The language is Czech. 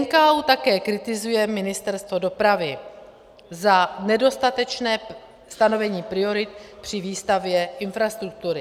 NKÚ také kritizuje Ministerstvo dopravy za nedostatečné stanovení priorit při výstavbě infrastruktury.